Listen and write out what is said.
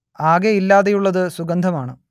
ആകെ ഇല്ലാതെയുള്ളത് സുഗന്ധമാണ്